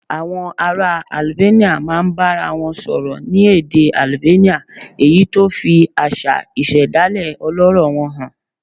Àwọn ará Albania máa ń bára wọn sọ̀rọ̀ ní èdè Albania, èyí tó fi àṣà ìṣẹ̀dálẹ̀ ọlọ́rọ̀ wọn hàn